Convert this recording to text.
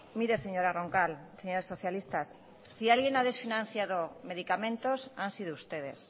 mireseñora roncal señores socialistas si alguien ha desfinanciado medicamentos han sido ustedes